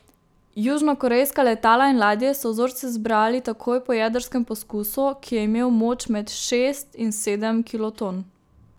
Južnokorejska letala in ladje so vzorce zbrali takoj po jedrskem poskusu, ki je imel moč med šest in sedem kiloton.